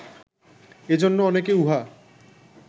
এজন্য অনেকে উহা